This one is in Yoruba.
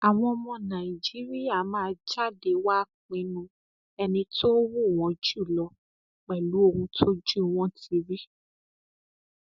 àwọn ọmọ nàìjíríà máa jáde wàá pinnu ẹni tó wù wọn jù lọ pẹlú ohun tójú wọn ti rí